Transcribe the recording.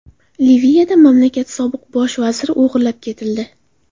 Liviyada mamlakat sobiq bosh vaziri o‘g‘irlab ketildi.